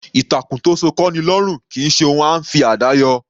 Ìtàkùn tó sọ kọ́'ni lọ́rùn kì í ṣe ohun à ńfi àdá yọ.